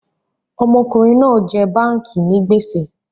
Ọmọkùnrin náà ń jẹ báànkì ni gbèsè